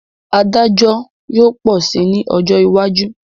Adájọ́ yóò pọ̀ si ní ọjọ́ iwájú